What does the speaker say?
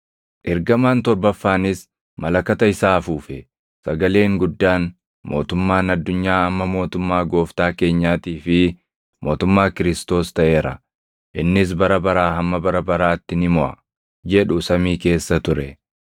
Ergamaan torbaffaanis malakata isaa afuufe; sagaleen guddaan, “Mootummaan addunyaa amma mootummaa Gooftaa keenyaatii fi mootummaa Kiristoos + 11:15 yookaan Masiihii taʼeera; innis bara baraa hamma bara baraatti ni moʼa” jedhu samii keessa ture.